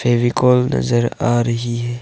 फेविकोल नजर आ रही है।